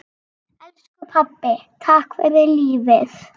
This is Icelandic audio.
Elsku pabbi, takk fyrir lífið.